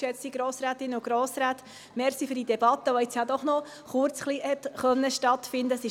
Danke für die Debatte, die nun doch noch kurz hat stattfinden können.